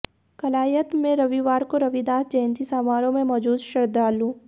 कलायत में रविवार को रविदास जयंती समारोह में मौजूद श्रद्धालु